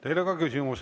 Teile on ka küsimus.